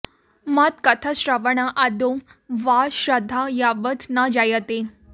मत् कथाश्रवण आदौ वा श्रद्धा यावत् न जायते